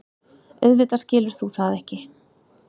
Auðvitað skilur þú það ekki.